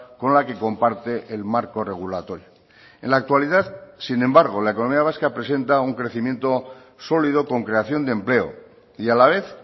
con la que comparte el marco regulatorio en la actualidad sin embargo la economía vasca presenta un crecimiento sólido con creación de empleo y a la vez